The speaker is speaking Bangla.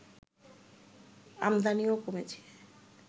আমদানিও কমেছে